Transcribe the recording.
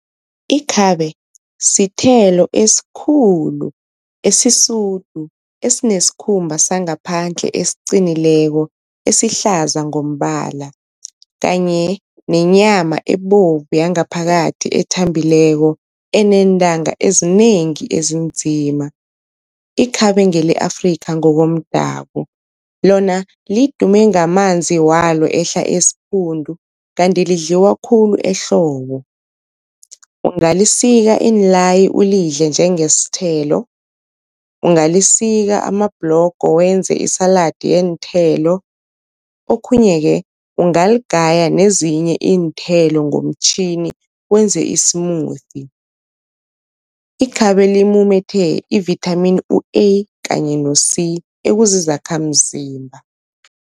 Ikhabe sithelo esikhulu esisudu, esinesikhumba sangaphandle esiqinileko esihlaza ngombala kanye nenyama ebovu yangaphakathi ethambileko, eneentanga ezinengi ezinzima. Ikhabe ngele Afrika ngokomdabu lona lidume ngamanzi walo ehla esiphundu, kanti lidliwa khulu ehlobo. Ungalisika iinlayi ulidle njengesithelo, ungalisika amabhlogo wenze isaladi yeenthelo, okhunye-ke ungaligaya nezinye iinthelo ngomtjhini wenze i-smoothie. Ikhabe limumethe i-vitamin u-A kanye ne-C ekuzizakhamzimba.